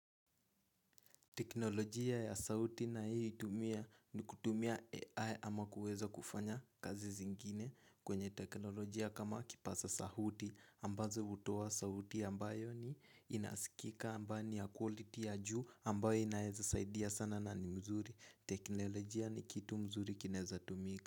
Teknolojia ya sauti nayoitumia ni kutumia AI ama kuweza kufanya kazi zingine kwenye teknolojia kama kipaza sauti ambazo hutoa sauti ambayo ni inasikika ambayo ni ya quality ya juu ambayo inaweza saidia sana na ni mzuri. Teknolojia ni kitu mzuri kinaeza tumika.